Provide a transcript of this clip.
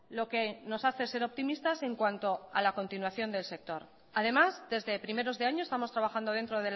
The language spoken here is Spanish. lo que nos hace ser optimistas en cuanto a la continuación del sector además desde primeros de año estamos trabajando dentro